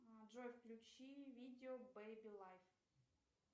джой включи видео бэйби лайф